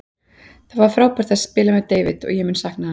Það var frábært að spila með David og mun ég sakna hans.